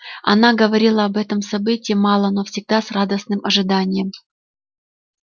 она говорила об этом событии мало но всегда с радостным ожиданием